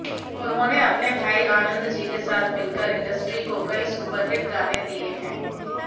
उन्होंने अपने भाई आनंदजी के साथ मिलकर इंडस्ट्री को कई सुपरहिट गाने दिए हैं